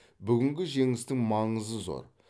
бүгінгі жеңістің маңызы зор